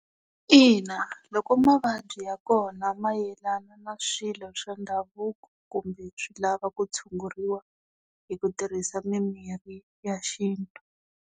Ina, loko mavabyi ya kona ma yelana na swilo swa ndhavuko, kumbe swi lava ku tshunguriwa, hi ku tirhisa mimirhi ya xintu.